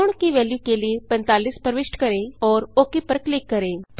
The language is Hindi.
कोण की वेल्यू के लिए 45 प्रविष्ट करें और ओक पर क्लिक करें